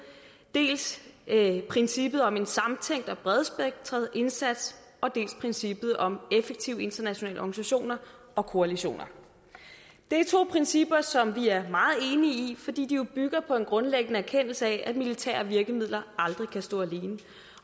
dels princippet om en samtænkt og bredspektret indsats og dels princippet om effektive internationale organisationer og koalitioner det er to principper som vi er meget enige i fordi de jo bygger på en grundlæggende erkendelse af at militære virkemidler aldrig kan stå alene